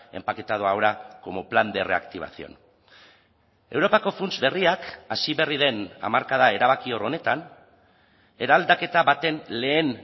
empaquetado ahora como plan de reactivación europako funts berriak hasi berri den hamarkada erabakior honetan eraldaketa baten lehen